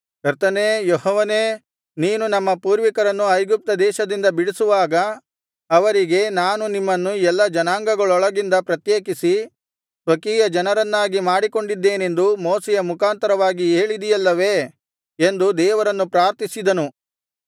ಕರ್ತನೇ ಯೆಹೋವನೇ ನೀನು ನಮ್ಮ ಪೂರ್ವಿಕರನ್ನು ಐಗುಪ್ತದೇಶದಿಂದ ಬಿಡಿಸುವಾಗ ಅವರಿಗೆ ನಾನು ನಿಮ್ಮನ್ನು ಎಲ್ಲಾ ಜನಾಂಗಗಳೊಳಗಿಂದ ಪ್ರತ್ಯೇಕಿಸಿ ಸ್ವಕೀಯಜನರನ್ನಾಗಿ ಮಾಡಿಕೊಂಡಿದ್ದೇನೆಂದು ಮೋಶೆಯ ಮುಖಾಂತರವಾಗಿ ಹೇಳಿದಿಯಲ್ಲವೇ ಎಂದು ದೇವರನ್ನು ಪ್ರಾರ್ಥಿಸಿದನು